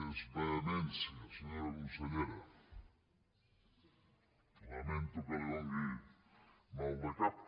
és vehemència senyora consellera lamento que li faci mal de cap